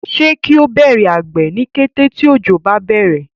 se kio Bẹrẹ àgbè ní kété tí ojo bá bẹrẹ?